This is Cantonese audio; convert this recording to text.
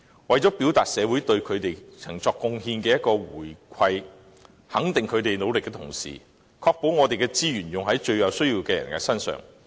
社會既要對他們的貢獻作出回饋，肯定他們的努力，同時亦須確保我們的資源用於最有需要的人身上。